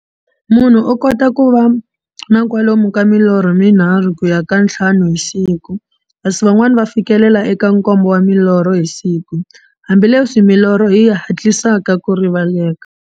Munhu u kota ku va na kwalomu ka milorho mi nharhu ku ya ka ya nthlanu hi siku, kasi van'wana ku fikela eka nkombo wa milorho hi siku, hambileswi milorho yi hatlisaka ku rivaleka.